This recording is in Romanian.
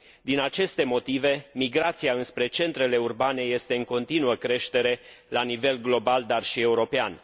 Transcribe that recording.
Din aceste motive, migrația înspre centrele urbane este în continuă creștere la nivel global, dar și european.